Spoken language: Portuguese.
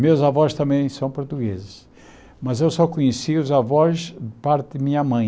Meus avós também são portugueses, mas eu só conheci os avós por parte de minha mãe.